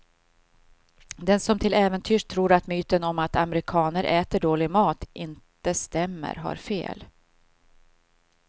Den som till äventyrs tror att myten om att amerikaner äter dålig mat inte stämmer har fel.